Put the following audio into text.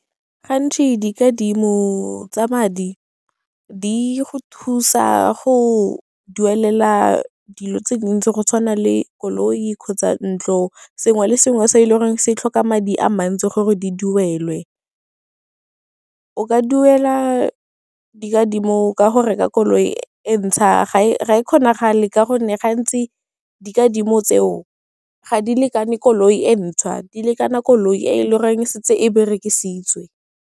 Gantsi dikadimo tsa madi di go thusa go duelela dilo tse dintsi go tshwana le koloi kgotsa ntlo, sengwe le sengwe se e le gore se tlhoka madi a mantsi gore di duelwe. O ka duela dikadimo ka go reka koloi e ntšhwa, ga e kgonakgale ka gonne gantsi dikadimo tseo ga di lekane koloi e ntšhwa, di lekana koloi e le goreng e setse e berekisitswe.